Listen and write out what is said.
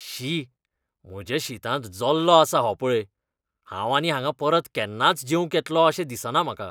शी! म्हज्या शीतांत जल्लो आसा हो पळय! हांव आनी हांगा परत केन्नाच जेवंक येतलों अशें दिसना म्हाका.